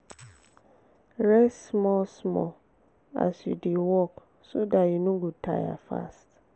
rest small small as you dey work so dat you no go tire fast